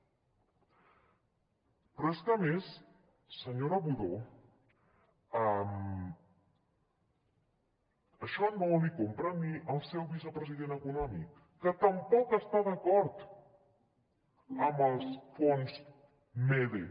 però és que a més senyora budó això no l’hi ho compra ni el seu vicepresident econòmic que tampoc està d’acord amb els fons mede